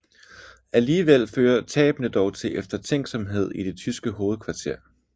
Alligevel fører tabene dog til eftertænksomhed i det tyske hovedkvarter